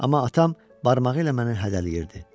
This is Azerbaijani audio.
Amma atam barmağı ilə məni hədələyirdi.